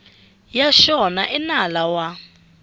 ya xona i nala wa